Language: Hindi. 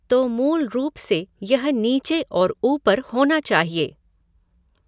तो मूल रूप से यह नीचे और ऊपर होना चाहिए।